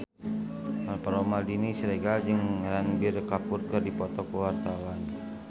Alvaro Maldini Siregar jeung Ranbir Kapoor keur dipoto ku wartawan